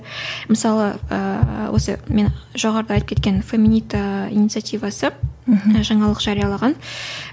мысалы ыыы осы мен жоғарыда айтып кеткен феминита инициативасы мхм жаңалық жариялаған